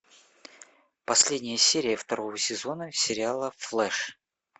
последняя серия второго сезона сериала флэш